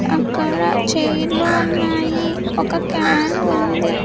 అక్కడ చైర్లు ఉన్నాయి ఒక క్యాను ఉంది.